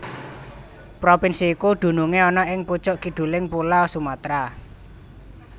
Propinsi iki dunungé ana ing pucuk kiduling pulo Sumatra